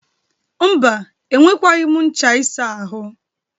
Mba, enwekwaghi m ncha isa ahụ.